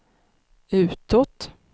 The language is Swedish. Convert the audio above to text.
utåt